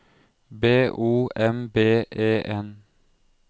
B O M B E N